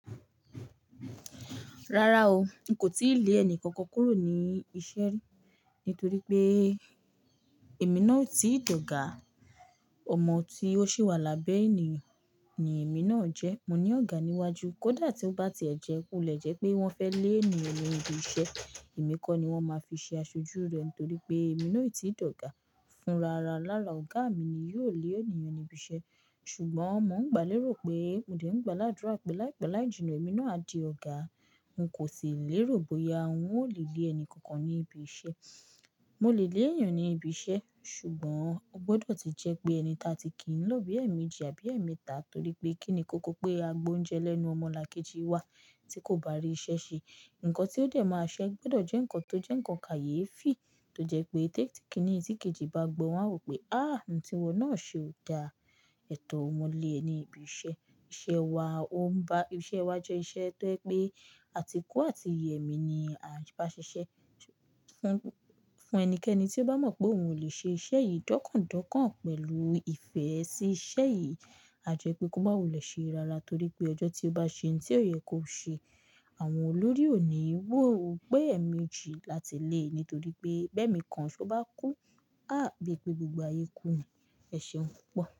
Rárá o, n kò tíì lé ẹni kankan kúrò ní iṣẹ́ nítorí pé èmi náà o ti dògà. Ọmọ tí ó ṣì wà lábẹ́ ènìyàn ni èmi náà jẹ́. Mo ní ọ̀gá níwájú, kódà tí ó bá ti ẹ̀jẹkù le jẹ́ pé wọ́n fẹ́ lé ènìyàn lẹ́nu ibi iṣẹ́, èmi kọ́ ni wọ́n máa fi ṣe aṣojú rẹ̀ nítorí pé èmi náà o ti dògà fúnra rà. Lára ọ̀gá mi ni yóò lé ènìyàn níbi iṣẹ́. Ṣùgbọ́n mo ń gbà lérò pé, mo dẹ̀ ń gbà ládùrá pé láìpẹ́ láìjínà èmi náà á di ọ̀gá. N kò sì lè rò bóyá wọn ó lè lé ẹni kankan ní ibi iṣẹ́. Mo lè lé ènìyàn ní ibi iṣẹ́, ṣùgbọ́n o gbọdọ̀ tí jẹ́ pé ẹni ta ti kí ń lọ bí ẹ̀mejí àbí ẹ̀metà torí pé kí ni kókó pé a gbọa oúnjẹ lẹ́nu ọmọlàkejì wa tí kò bá rí iṣẹ́ ṣe? Ǹkan tí ó dé máa ṣẹ́ gbọdọ̀ jẹ́ ǹkan tó jẹ́ ǹkan kàyéfi tó jẹ́ pé tẹ́tí kíní tí kejì bá gbọ́ wọn á wò pé, "áàh, ǹ tí wọn náà ṣe ò da." Ètò ọmọ lé ẹni ibi iṣẹ́, iṣẹ́ wa o ń ba, iṣẹ́ wa jẹ́ iṣẹ́ tó jẹ́ pé àtíkù àti ìyẹ́mi ni a bá ṣiṣẹ́. Fún, fún ẹnikẹ́ni tí ó bá mọ̀ pé òun ò lè ṣe iṣẹ́ yìí dọ́kàn dọ́kàn pẹ̀lú ìfẹ́ sí iṣẹ́ yìí, a jẹ́ pé kó bá wọlé ṣe rárá torí pé ọjọ́ tí ó bá ṣe ǹ tí ó yẹ kó ṣe, àwọn olórí ò ní wò ó pé ẹ̀mi jí láti lé e nítorí pé ẹbẹ̀ mi kan ṣó bá kú, á bí pé gbogbo ayé kú. Ẹ̀ṣẹ̀ ń pọ̀